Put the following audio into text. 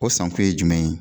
O sankun ye jumɛn ye.